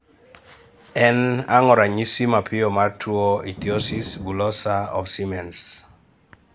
En ango ranyisi mapiyo mar tuo Ichthyosis bullosa of Siemens?